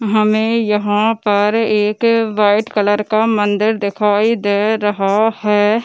हमें यहाँ पर एक वाइट कलर का मंदिर दिखाई दे रहा है।